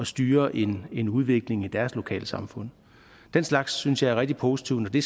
styre en en udvikling i deres lokalsamfund den slags synes jeg er rigtig positivt nemlig